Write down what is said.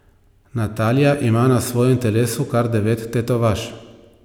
Natalija ima na svojem telesu kar devet tetovaž.